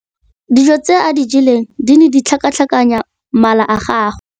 Dijô tse a di jeleng di ne di tlhakatlhakanya mala a gagwe.